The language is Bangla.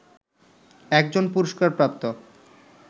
একজন পুরস্কারপ্রাপ্ত